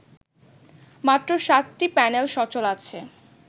মাত্র ৭টি প্যানেল সচল আছে